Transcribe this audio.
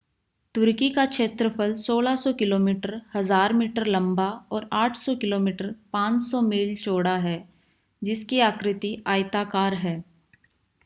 तुर्की का क्षेत्रफल 1,600 kilometre 1,000 metre लंबा और 800 किमी 500 मील चौड़ा है जिसकी आकृति आयताकार है